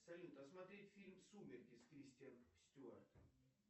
салют а смотреть фильм сумерки с кристен стюарт